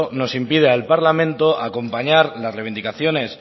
nos impide al parlamento acompañar las reivindicaciones